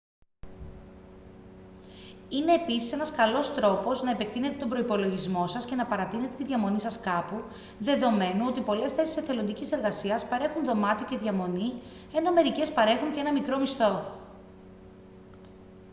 είναι επίσης ένας καλός τρόπος να επεκτείνετε τον προϋπολογισμό σας και να παρατείνετε τη διαμονή σας κάπου δεδομένου ότι πολλές θέσεις εθελοντικής εργασίας παρέχουν δωμάτιο και διαμονή ενώ μερικές παρέχουν και έναν μικρό μισθό